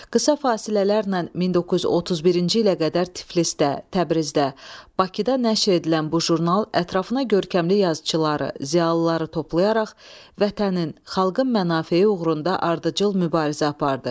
Qısa fasilələrlə 1931-ci ilə qədər Tiflisdə, Təbrizdə, Bakıda nəşr edilən bu jurnal ətrafına görkəmli yazıçıları, ziyalıları toplayaraq vətənin, xalqın mənafeyi uğrunda ardıcıl mübarizə apardı.